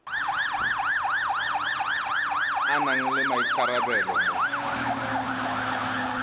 a nang le maikarabelo mo